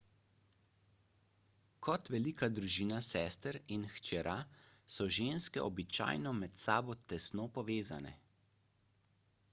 kot velika družina sester in hčera so ženske običajno med sabo tesno povezane